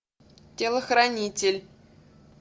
телохранитель